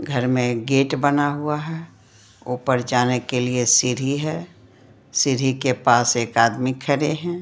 घर में गेट बना हुआ है ऊपर जाने के लिए सीढ़ी है सिढ़ी के पास एक आदमी खड़े हैं।